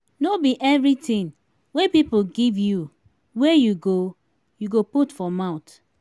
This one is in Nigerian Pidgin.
no be everytin wey pipo give you wey you go you go put for mouth.